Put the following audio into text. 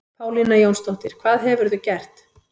Pálína Jónsdóttir, hvað hefurðu gert?